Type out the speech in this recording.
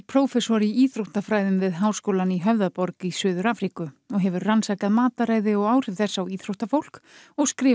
prófessor í íþróttafræðum við háskólann í Höfðaborg í Suður Afríku og hefur rannsakað mataræði og áhrif þess á íþróttafólk og skrifað